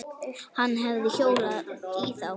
Hann hefði hjólað í þá.